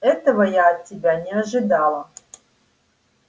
этого я от тебя не ожидала